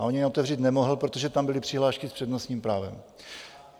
A ani ji otevřít nemohl, protože tam byly přihlášky s přednostním právem.